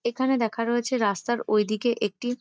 এখানে দেখানো হয়েছে রাস্তার ওইদিকে একটি --